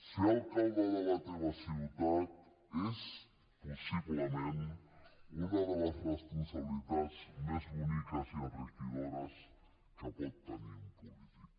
ser alcalde de la teva ciutat és possiblement una de les responsabilitats més boniques i enriquidores que pot tenir un polític